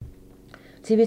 TV 2